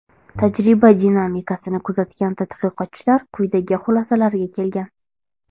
Tajriba dinamikasini kuzatgan tadqiqotchilar quyidagi xulosalarga kelgan.